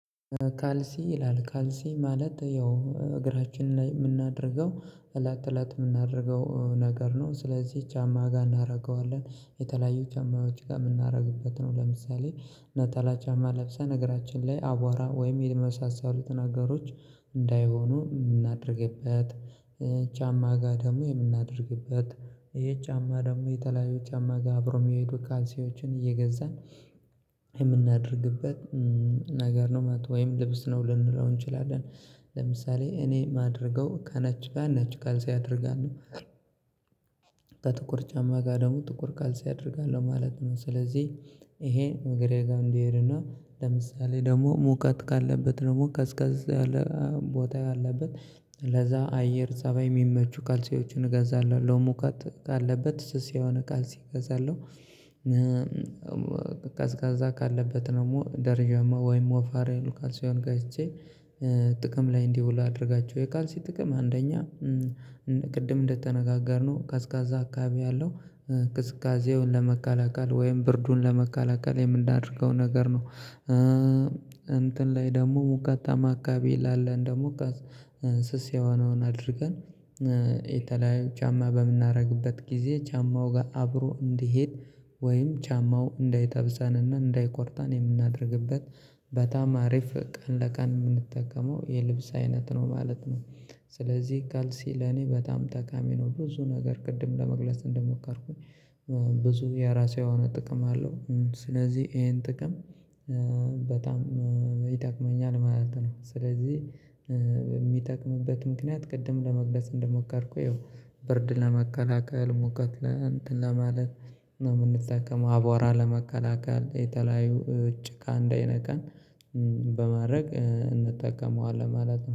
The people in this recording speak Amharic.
ካልሲ ይላል ካልሲ ማለት ያው እግራችን ላይ የምናደርገው እላት እላት የምናደርገው ነገር ነው። ስለዚህ ቻማ ጋር እናደርገዋለን የተለያዩ ቻማዎች ጋር የምናደርግበት ነው። ለምሳሌ ነጠላ ቻማ ለብሴን እግራችን ላይ አቧራ ወይም የመሳሰሉትን አገሮች እንዳይሆኑ እናደርግበት። ጫማ ጋር ደግሞ የምናደርግበት ይሄ ጫማ ደግሞ የተለያዩ ጫማ ጋር አብሮ የሚሄዱ ካልሲዎችን እየገዛን የምናደርግበት ነገር ነው። ማለት ወይም ልብስ ነው ልንለው እንችላለን። ለምሳሌ እኔ የማደርገው ከነጭ ጋር ነጭ ካልስ አደርጋለሁ። በጥቁር ጫማ ጋር ደግሞ ጥቁር ካልስ አደርጋለሁ ማለት ነው። ስለዚህ ይሄ እግሬ ጋር እንዲሄድና ለምሳሌ ደግሞ ሙቀት ካለበት ደግሞ ቀዝቀዝ ያለ ቦታ ያለበት ለዛ አየር ፀባይ የሚመቹ ካልስዎችን እገዛለሁ ለሙቀት ካለበት ስስ የሆነ ካልስ እገዛለሁ። እና ቀዝቃዛ ካለበት ደግሞ ደረጃማ ወይም ወፋር ካልስውን ገዝቼ ጥቅም ላይ እንዲውሉ አድርጋቸው። የካልሲ ጥቅም አንደኛ ቅድም እንደተነጋገርነው ቀዝቃዛ አካባቢ ያለው ቅዝቃዜውን ለመቀላቀል ወይም ብርዱን ለመከላከል የምናደርገው ነገር ነው። እንትን ላይ ደግሞ ሙቀታማ አከባቢ ላለን ደግሞ ስስ የሆነውን አድርገን የተለያዩ ጫማ በምናደርግበት ጊዜ ጫማው ጋር አብሮ እንዲሄድ ወይም ጫማው እንዳጠብስንና እንዳይቆርጠን የምናደርግበት በጣም አሪፍ ቀን ለቀን የምንጠቀመው የልብስ አይነት ነው ማለት ነው። ስለዚህ ካልሲ ለኔ በጣም ጠቃሚ ነው ብዙ ነገር ቅድም ለመግለጽ እንደሞከርኩኝ ብዙ የራሴ የሆነ ጥቅም አለው። ስለዚህ ይሄን ጥቅም በጣም ይጠቅመኛል ማለት ነው። ስለዚህ የሚጠቅምበት ምክንያት ቅድም ለመግለጽ እንደሞከርኩኝ ብርድ ለመከላከል ሙቀት ለማለት ነው የምንጠቀመው አቧራ ለመከላከል የተለያዩ ጭቃ እንዳይነካን በማድረግ እንጠቀመዋለን ማለት ነው